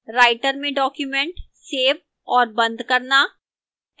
writer में document save और बंद करना